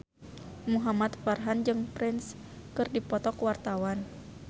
Muhamad Farhan jeung Prince keur dipoto ku wartawan